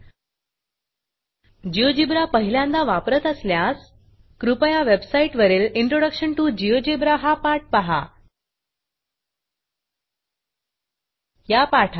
GeoGebra GeoGebra पहिल्यांदा वापरत असल्यास कृपया वेबसाईटवरील इंट्रोडक्शन टीओ GeoGebraइंट्रोडकशन टू जियोजीब्रा हा पाठ पहा